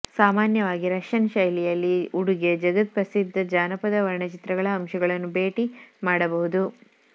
ಸಾಮಾನ್ಯವಾಗಿ ರಷ್ಯನ್ ಶೈಲಿಯಲ್ಲಿ ಉಡುಗೆ ಜಗತ್ಪ್ರಸಿದ್ಧ ಜಾನಪದ ವರ್ಣಚಿತ್ರಗಳ ಅಂಶಗಳನ್ನು ಭೇಟಿ ಮಾಡಬಹುದು